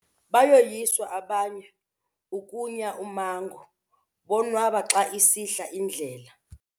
Bayoyiswa abanye ukunya ummango bonwaba xa isihla indlela.